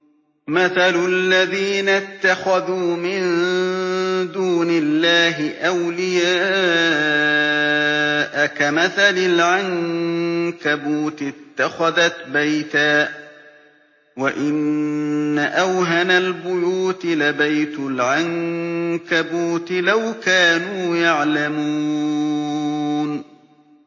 مَثَلُ الَّذِينَ اتَّخَذُوا مِن دُونِ اللَّهِ أَوْلِيَاءَ كَمَثَلِ الْعَنكَبُوتِ اتَّخَذَتْ بَيْتًا ۖ وَإِنَّ أَوْهَنَ الْبُيُوتِ لَبَيْتُ الْعَنكَبُوتِ ۖ لَوْ كَانُوا يَعْلَمُونَ